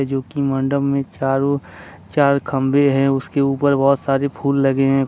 जो कि मंडप में चारों चार खंबे है उसके ऊपर बहुत सारी फूल लगे हैं।